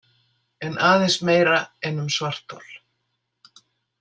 En aðeins meira en um svarthol.